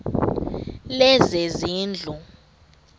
lezezindlu